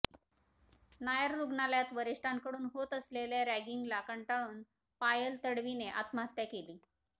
नायर रुग्णालयात वरीष्ठांकडून होत असलेल्या रॅगिंगला कंटाळून पायल तडवीने आत्महत्या केली